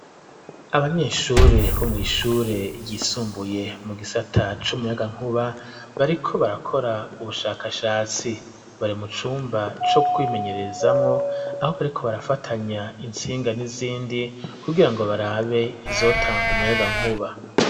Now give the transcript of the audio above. Abanyeshure bo mw'ishure ryisumbuye, mu gisata c'umuyagankuba, bariko barakora ubushakashatsi; bari mu cumba co kwimenyererezamwo, aho bariko barafatanya intsinga n'izindi, kugira ngo barabe izotanga umuyagankuba.